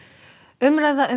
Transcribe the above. umræða um